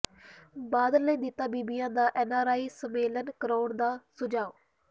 ਬਾਦਲ ਨੇ ਦਿੱਤਾ ਬੀਬੀਆਂ ਦਾ ਐਨਆਰਆਈ ਸੰਮੇਲਨ ਕਰਾਉਣ ਦਾ ਸੁਝਾਅ